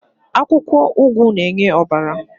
Pumpkin leaf gives blood to the body.